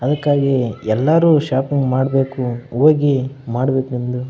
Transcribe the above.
ಅದ್ಕಾಗಿ ಎಲ್ಲರೂ ಶಾಪಿಂಗ್ ಮಾಡಬೆಕು ಹೋಗಿ ಮಾಡಬೆಕೆಂದು --